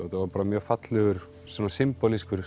þetta var mjög fallegur svona